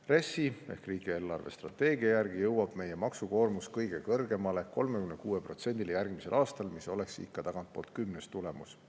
RES-i ehk riigi eelarvestrateegia järgi jõuab meie maksukoormus kõige kõrgemale, 36%‑ni järgmisel aastal, mis oleks tagantpoolt kümnes tulemus.